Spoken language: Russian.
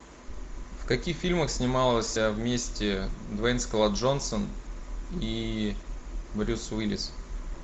в каких фильмах снимался вместе дуэйн скала джонсон и брюс уиллис